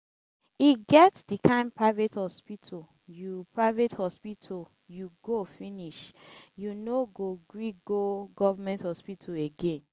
e get di kain private hospital you private hospital you go finish you no go gree go government hospital again.